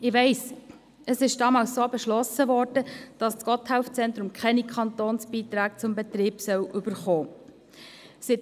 Ich weiss, es wurde damals so beschlossen, dass das Gotthelf-Zentrum keine Kantonsbeiträge für den Betrieb bekommen soll.